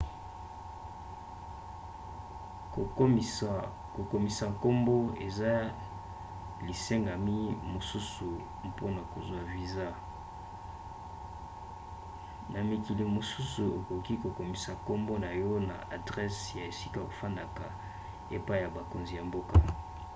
kokomisa nkombo eza lisengami mosusu mpona kozwa viza. na mikili mosusu okoki kokomisa nkombo na yo na adrese ya esika okofanda epai ya bakonzi ya mboka